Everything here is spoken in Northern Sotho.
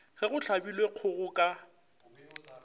ge go hlabilwe kgogo ka